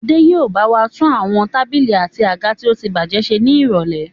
Adé yìí ó bawa tún àwọn tábìlì àti àga tí ótibájẹ́ ṣe ni irọ̀lẹ́.